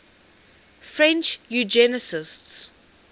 french eugenicists